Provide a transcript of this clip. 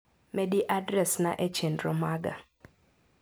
Medi adres na e chenro maga.